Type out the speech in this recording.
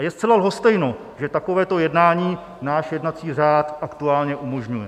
A je zcela lhostejno, že takovéto jednání náš jednací řád aktuálně umožňuje.